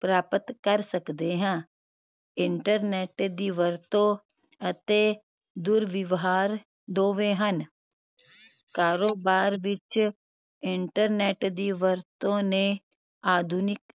ਪ੍ਰਾਪਤ ਕਰ ਸਕਦੇ ਹਾਂ internet ਦੀ ਵਰਤੋਂ ਅਤੇ ਦੁਰਵਿਵਹਾਰ ਦੋਵੇਂ ਹਨ ਕਾਰੋਬਾਰ ਵਿਚ internet ਦੀ ਵਰਤੋਂ ਨੇ ਆਧੁਨਿਕ